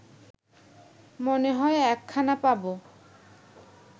মনে হয় একখানা পাব